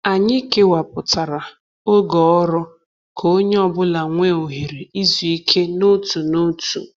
Anyị kewapụtara oge ọrụ ka onye ọ bụla nwee ohere izu ike n’otu n’otu.